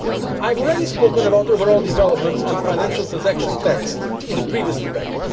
side. I have already spoken about the overall developments on the financial transaction tax in the previous debate.